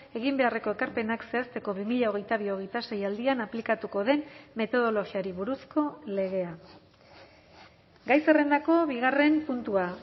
egin beharreko ekarpenak zehazteko bi mila hogeita bi hogeita sei aldian aplikatuko den metodologiari buruzko legea gai zerrendako bigarren puntua